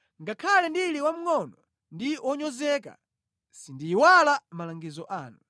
Ngakhale ndili wamngʼono ndi wonyozeka, sindiyiwala malangizo anu.